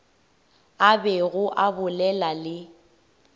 a bego a bolela le